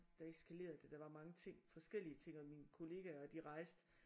Der eskalerede det der var mange ting forskellige ting og mine kollegaer de rejste